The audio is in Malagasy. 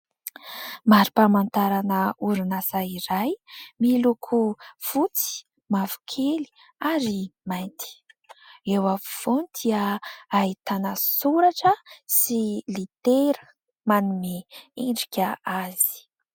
Mari-pamantarana orinasa iray miloko fotsy, mavokely ary mainty. Eo afovoany dia ahitana soratra sy litera manome endrika azy.